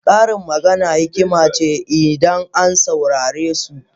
Karin magana hikima ne idan an saurare su.